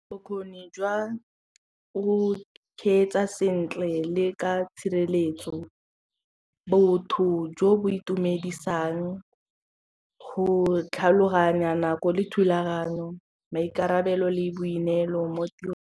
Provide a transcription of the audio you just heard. Bokgoni jwa go kgweetsa sentle le ka tshireletso botho jo bo itumedisang go tlhaloganya nako le thulaganyo maikarabelo le boineelo mo tirong.